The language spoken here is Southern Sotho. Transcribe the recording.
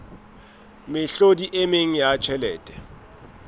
mehlodi e meng ya tjhelete